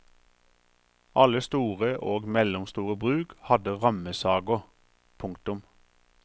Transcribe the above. Alle store og mellomstore bruk hadde rammesager. punktum